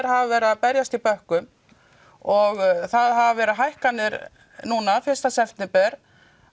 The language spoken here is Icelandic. hafa verið að berjast í bökkum og það hafa verið hækkanir núna fyrsta september